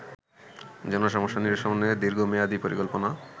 জনসমস্যা নিরসনে দীর্ঘমেয়াদি পরিকল্পনা